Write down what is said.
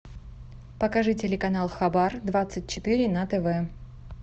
покажи телеканал хабар двадцать четыре на тв